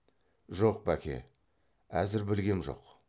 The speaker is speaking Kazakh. жоқ бәке әзір білгем жоқ